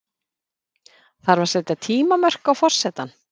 Þarf að setja tímamörk á forsetann?